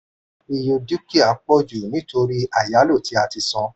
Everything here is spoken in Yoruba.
ìye dúkìá pọ̀ jù nítorí ayálò tí a ti san.